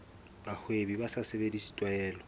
bahwebi ba sa sebedise tlwaelo